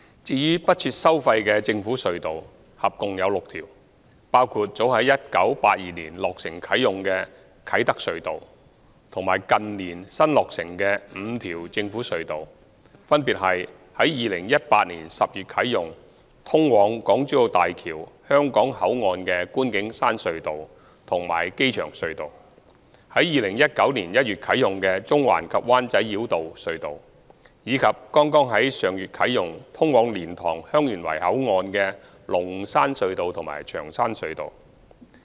至於不設收費的政府隧道，合共有6條，包括早在1982年落成啟用的啟德隧道和近年新落成的5條政府隧道，分別是於2018年10月啟用、通往港珠澳大橋香港口岸的觀景山隧道及機場隧道、於2019年1月啟用的中環及灣仔繞道隧道，以及剛在上月啟用、通往蓮塘/香園圍口岸的龍山隧道及長山隧道。